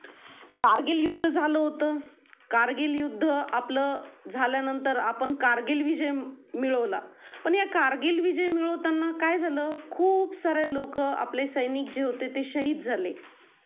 कारगिल युद्ध झालं होत कारगिल युद्ध आपलं झाल्या नंतर आपण कारगिल विजय मिळवला पण या कारगिल विजय मिळवतांना काय झालं खूप सारे लोक आपले सैनिक जे होते ते शाहिद झाले.